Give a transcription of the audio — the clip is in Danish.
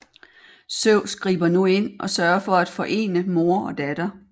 Zeus griber nu ind og sørger for at forene mor og datter